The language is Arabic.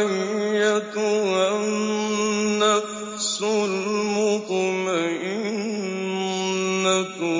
أَيَّتُهَا النَّفْسُ الْمُطْمَئِنَّةُ